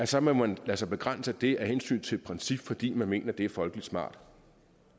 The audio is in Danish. så må man lade sig begrænse af det af hensyn til et princip fordi man mener at det er folkeligt smart